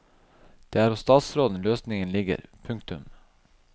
Det er hos statsråden løsningen ligger. punktum